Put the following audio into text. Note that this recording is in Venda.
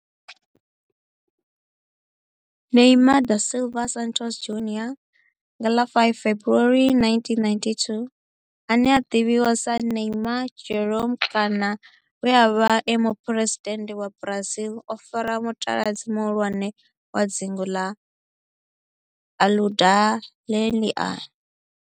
Neymar da Silva Santos Junior, nga ḽa 5 February 1992, ane a ḓivhiwa sa Ne'ymar' Jeromme kana we a vha e muphuresidennde wa Brazil o fara mutaladzi muhulwane wa dzingu na Aludalelia.